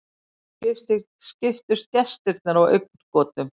Nú skiptust gestirnir á augnagotum.